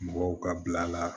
Mɔgɔw ka bila la